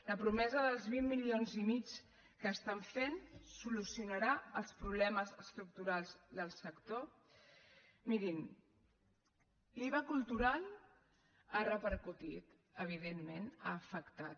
la promesa dels vint milions i mig que estan fent solucionarà els problemes estructurals del sector mirin l’iva cultural ha repercutit evidentment ha afectat